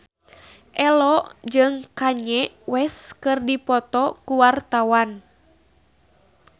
Ello jeung Kanye West keur dipoto ku wartawan